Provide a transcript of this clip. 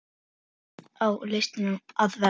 Þannig á listin að vera.